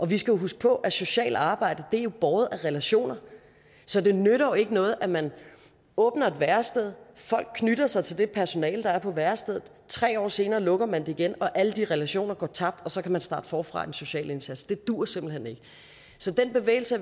vi skal huske på at socialt arbejde er båret af relationer så det nytter jo ikke noget at man åbner et værested folk knytter sig til det personale der er på værestedet og tre år senere lukker man det igen alle de relationer går tabt og så kan man starte forfra i den sociale indsats det duer simpelt hen ikke så den bevægelse